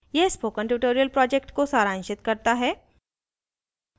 यह spoken tutorial project को सारांशित करता है